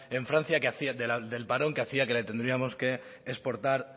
en francia del parón que hacía que le tendríamos que exportar